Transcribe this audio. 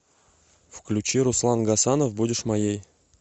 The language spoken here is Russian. включи руслан гасанов будешь моей